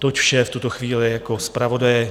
Toť vše v tuto chvíli jako zpravodaj.